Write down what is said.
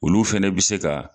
Olu fɛnɛ bi se ka